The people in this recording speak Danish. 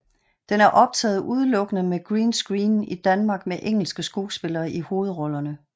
Den er optaget udelukkende med green ccreen i Danmark med engelske skuespillere i hovedrollerne